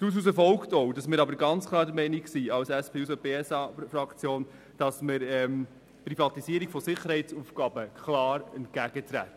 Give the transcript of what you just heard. Daraus folgt, dass die SP-JUSO-PSAFraktion der Meinung ist, dass wir einer Privatisierung von Sicherheitsaufgaben klar entgegentreten.